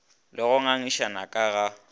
le go ngangišana ka ga